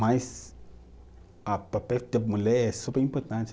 Mas ah, papel da mulher é super importante